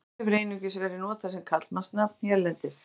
Vatnar hefur einungis verið notað sem karlmannsnafn hérlendis.